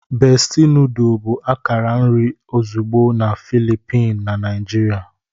Besti nodulu bụ akara nri ozugbo na Filippin na Naijiria.